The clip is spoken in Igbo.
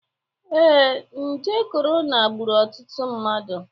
Ee, nje kọrọna gburu otụtụ mmadụ.